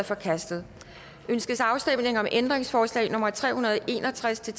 forkastet ønskes afstemning om ændringsforslag nummer tre hundrede og en og tres til